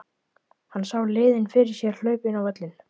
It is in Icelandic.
Hann sá liðin fyrir sér að hlaupa inn á völlinn.